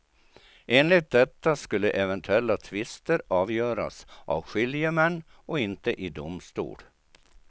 Enligt detta skulle eventuella tvister avgöras av skiljemän och inte i domstol.